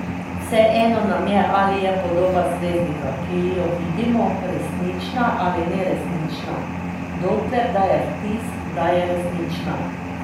Vseeno nam je, ali je podoba zvezdnika, ki jo vidimo, resnična ali neresnična, dokler daje vtis, da je resnična.